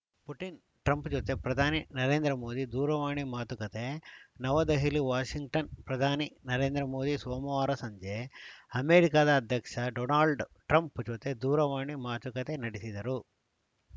Putin Trump ಜೊತೆ ಪ್ರಧಾನಿ ನರೇಂದ್ರ ಮೋದಿ ದೂರವಾಣಿ ಮಾತುಕತೆ ನವದೆಹಲಿವಾಷಿಂಗ್ಟನ್‌ ಪ್ರಧಾನಿ ನರೇಂದ್ರ ಮೋದಿ ಸೋಮವಾರ ಸಂಜೆ ಅಮೆರಿಕದ ಅಧ್ಯಕ್ಷ ಡೊನಾಲ್ಡ್‌ ಟ್ರಂಪ್‌ ಜೊತೆ ದೂರವಾಣಿ ಮಾತುಕತೆ ನಡೆಸಿದರು